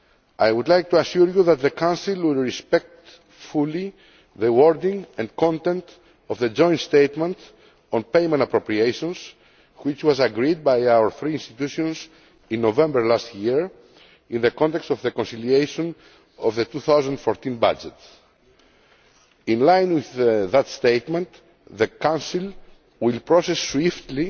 I would like to assure you that the Council will respect fully the wording and content of the joint statement on payment appropriations which was agreed by our three institutions in November last year in the context of the conciliation on the 2014 budget. In line with that statement, the Council will process swiftly